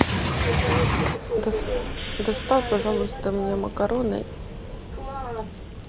доставь пожалуйста мне макароны